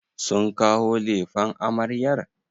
Sun kawo lefen amaryar?